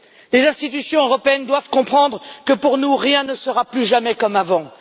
Les institutions européennes doivent comprendre que, pour nous, rien ne sera plus jamais comme avant.